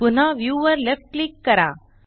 पुन्हा व्ह्यू वर left click करा